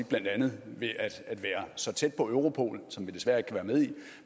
blandt andet at være så tæt på europol som vi desværre ikke kan